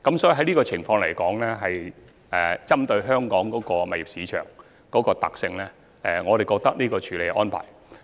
在這個情況下，針對香港物業市場的特性，我認為這個處理安排實屬恰當。